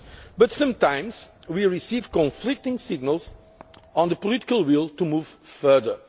EMU. But sometimes we receive conflicting signals on the political will to move